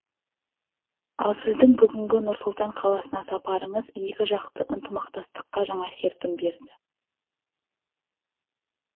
ал сіздің бүгінгі нұр сұлтан қаласына сапарыңыз екіжақты ынтымақтастыққа жаңа серпін берді